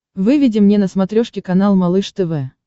выведи мне на смотрешке канал малыш тв